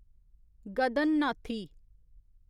गदननाथी